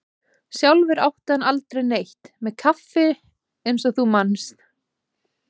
Sjálfur átti hann aldrei neitt með kaffi eins og þú manst.